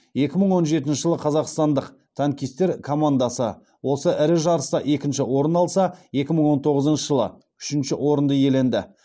екі мың он жетінші жылы қазақстандық танкистер командасы осы ірі жарыста екінші орын алса екі мың он тоғызыншы жылы үшінші орынды иеленді